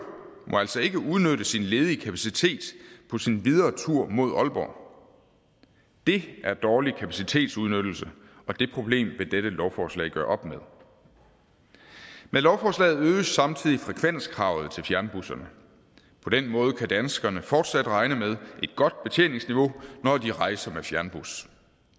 må altså ikke udnytte sin ledige kapacitet på sin videre tur mod aalborg det er dårlig kapacitetsudnyttelse og det problem vil dette lovforslag gøre op med med lovforslaget øges samtidig frekvenskravet til fjernbusserne på den måde kan danskerne fortsat regne med et godt betjeningsniveau når de rejser med fjernbus